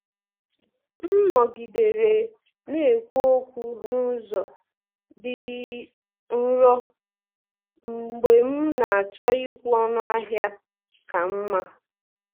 M nọgidere na-ekwu okwu n’ụzọ dị nro mgbe m na-achọ ịkwụ ọnụ ahịa ka mma.